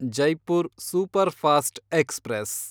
Jaipur superfast express